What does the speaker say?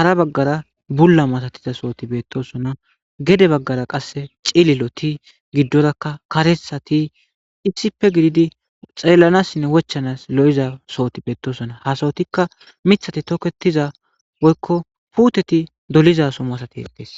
hara baggara bulla matatiza sooti beettosona gede baggara qasse cililoti giddorakka karesati ifisippe gididi xeellanassinne wochanas lo7iza sooti beettosona hasawotikka mithati toketiza woykko puuteti dolizaso masatetes